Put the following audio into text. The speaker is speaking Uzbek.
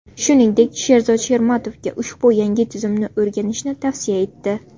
Shuningdek, Sherzod Shermatovga ushbu yangi tizimni o‘rganishni tavsiya etdi.